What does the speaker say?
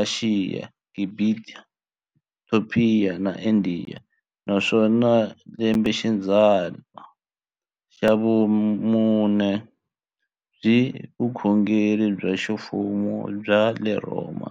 Ashiya, Gibhita, Topiya na Indiya, naswona hi lembexidzana ra vumune byi vile vukhongeri bya ximfumo bya le Rhoma.